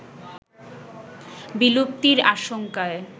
বিলুপ্তির আশঙ্কায়